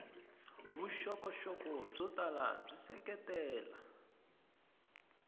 vuxokoxoko byo tala byi seketela